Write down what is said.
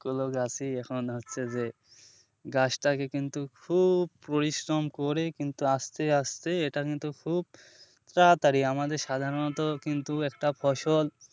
কোন গাছই এখন হচ্ছে যে গাছটাকে কিন্তু খুব পরিশ্রম করে কিন্তু আসতে আসতে এটা কিন্তু খুব তাড়াতাড়ি আমাদের সাধারণত কিন্তু একটা ফসল,